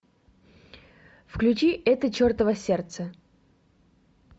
включи это чертово сердце